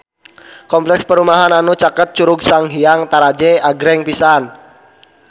Kompleks perumahan anu caket Curug Sanghyang Taraje agreng pisan